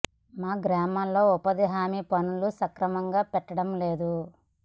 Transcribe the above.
మా గ్రామంలో ఉపాధి హామీ పనులు సక్ర మంగా పెట్టడం లేదు